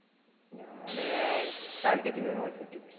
ഞാന് calicut university.